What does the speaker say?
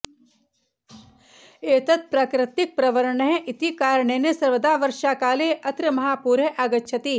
एतत् प्राकृर्तिकप्रवणः इति कारणेन सर्वदा वर्षाकाले अत्र महापूरः आगच्छति